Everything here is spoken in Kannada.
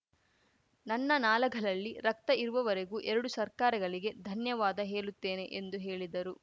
ನನ್ನ ನಾಲಗಲಲ್ಲಿ ರಕ್ತ ಇರುವವರೆಗೂ ಎರಡೂ ಸರ್ಕಾರಗಲಿಗೆ ಧನ್ಯವಾದ ಹೇಳುತ್ತೇನೆ ಎಂದು ಹೇಲಿದರು